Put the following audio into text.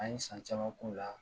An ye san caman k'o la.